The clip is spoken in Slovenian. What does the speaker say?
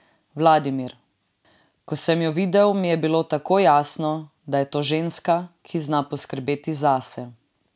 Vladimir: "Ko sem jo videl, mi je bilo takoj jasno, da je to ženska, ki zna poskrbeti zase.